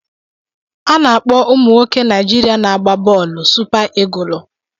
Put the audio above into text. A na-akpọ ụmụ nwoke Naijiria na-agba bọọlụ Supa Igụlụ.